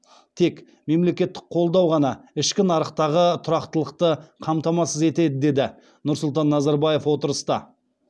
тек мемлекеттік қолдау ғана ішкі нарықтағы тұрақтылықты қамтамасыз етеді деді нұрсұлтан назарбаев отырыста